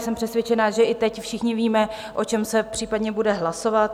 Jsem přesvědčena, že i teď všichni víme, o čem se případně bude hlasovat.